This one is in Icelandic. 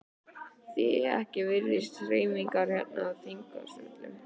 Því ekki virðist hreyfingin hérna í þingsölum?